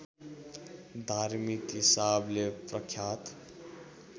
धार्मिक हिसाबले प्रख्यात